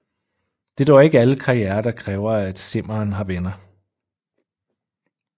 Det er dog ikke alle karrierer der kræver at simmeren har venner